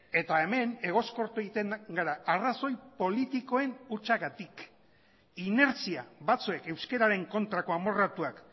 eta hemen egoskortu egiten gara arrazoi politikoen hutsagatik inertzia batzuek euskararen kontrako amorratuak